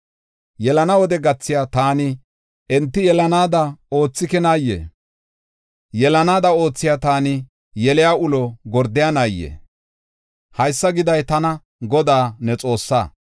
Yelana wode gathiya taani enti yelanaada oothikinaayee? Yelanaada oothiya taani yeliya ulo gordaynaayee? Haysa giday tana, Godaa, ne Xoossaa.